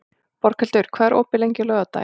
Borghildur, hvað er opið lengi á laugardaginn?